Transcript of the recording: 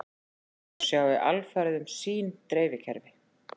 Þau sjái alfarið um sín dreifikerfi